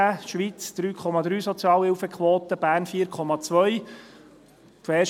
2017 hatte die Schweiz eine Sozialhilfequote von 3,3, Bern 4,2.